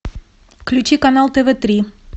включи канал тв три